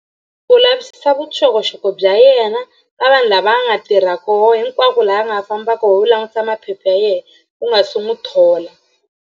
U lavisisa vuxokoxoko bya yena ka vanhu lava nga tirha koho hinkwako laha nga fambaka koho u langutisa maphepha ya yena u nga se n'wi thola.